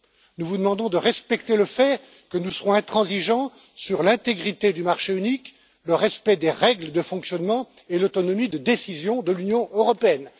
Nous vous demandons de respecter le fait que nous serons intransigeants sur l'intégrité du marché unique, le respect des règles de fonctionnement et l'autonomie de décision de l'Union européenne.